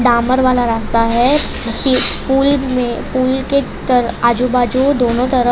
आमर वाला रास्ता है पूल मे पूल के त आजू बाजू दोनों तरफ--